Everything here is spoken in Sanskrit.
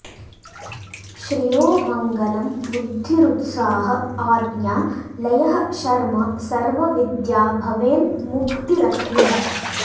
श्रियो मङ्गलं बुद्धिरुत्साह आज्ञा लयः शर्म सर्व विद्या भवेन्मुक्तिरन्ते